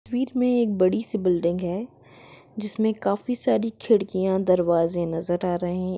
बीच में एक बड़ी सी बिल्डिग है जिसमे काफी सारी खिड़कियाँ दरवाज़े नज़र आ रहे--